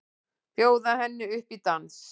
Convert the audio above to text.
Bjóða henni upp í dans!